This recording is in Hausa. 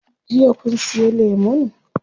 Jiya kun siya lemun?